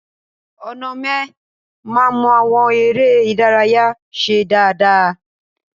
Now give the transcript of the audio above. Onome ma mọ àwọn eré ìdárayá ṣe dáadáa.